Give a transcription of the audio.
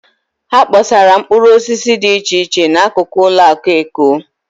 Ha kpọsara mkpụrụosisi dị iche iche n'akụkụ ụlọakụ Eko.